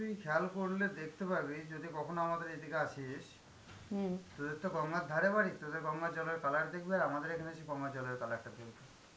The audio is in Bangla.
একটা জিনিস খেয়াল করলে দেখতে পাবি যদি কখনো আমাদের এদিকে আসিস তোদের তো গঙ্গার ধারে বাড়ি তোদের গঙ্গার জলের colour দেখবি আর আমাদের এখানে এসে গঙ্গার জলের colour টা দেখবি.